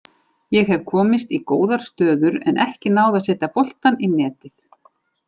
Ég hef komist í góðar stöður en ekki náð að setja boltann í netið.